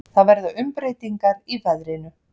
Það verða umbreytingar í veðrinu.